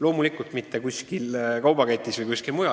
Loomulikult ei toimu see kuskil kaubaketis või ma ei tea kus.